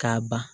K'a ban